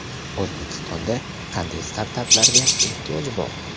O‘zbekistonda qanday startaplarga ehtiyoj bor?.